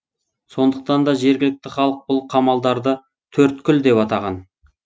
сондықтан да жергілікті халық бұл қамалдарды төрткүл деп атаған